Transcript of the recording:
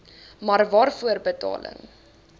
maar waarvoor betaling